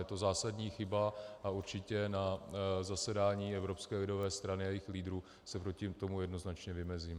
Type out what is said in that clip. Je to zásadní chyba a určitě na zasedání Evropské lidové strany a jejích lídrů se proti tomu jednoznačně vymezím.